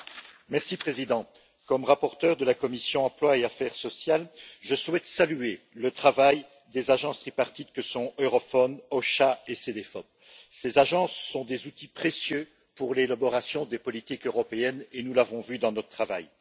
Monsieur le Président, en tant que rapporteur de la commission de l'emploi et des affaires sociales, je souhaite saluer le travail des agences tripartites que sont Eurofound, EU OSHA et Cedefop. Ces agences sont des outils précieux pour l'élaboration des politiques européennes et nous l'avons vu dans notre travail.